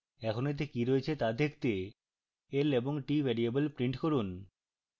এখন এতে কি রয়েছে তা দেখতে l এবং t ভ্যারিয়েবল print করুন